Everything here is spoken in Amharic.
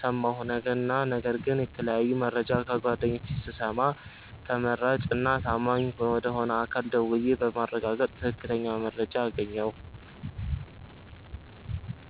ሠማሁ እና ነገር ግን የተለያየ መረጃ ከጓደኞቼ ስሰማ ተመራጭ እና ተአማኝ ወደ ሆነ አካል ደውዬ በማረጋገጥ ትክክለኛ መረጃ አገኘሁ።